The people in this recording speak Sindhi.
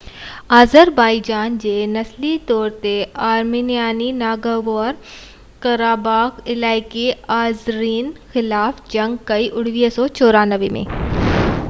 1994 ۾ آذربائيجان جي نسلي طور تي آرمينيائي ناگورنو-ڪراباخ علائقي آذرين خلاف جنگ ڪئي